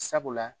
Sabula